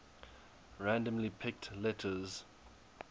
randomly picked letters